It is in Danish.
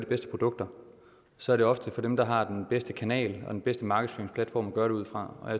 bedste produkter så er det ofte for dem der har den bedste kanal og den bedste markedsføringsplatform at gøre det ud fra